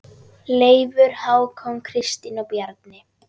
Leifur, Hákon, Kristín og Bjarni.